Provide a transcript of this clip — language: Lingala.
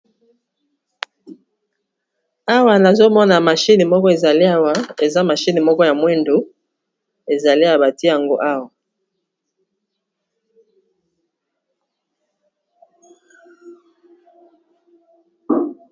awa na azomona mashini moko ezaleawa eza mashini moko ya mwindu ezale abati yango awa